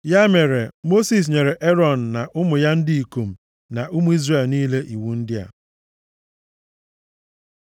Ya mere Mosis nyere Erọn na ụmụ ya ndị ikom na ụmụ Izrel niile iwu ndị a.